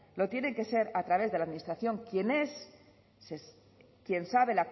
lo tienen que ser a través de la administración quien es quien sabe